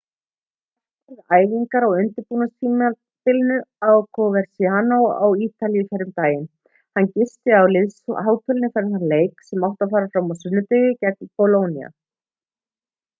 jarque var við æfingar á undirbúningstímabilinu á coverciano á ítalíu fyrr um daginn hann gisti á liðshótelinu fyrir þann leik sem átti að fara fram á sunnudegi gegn bolóníu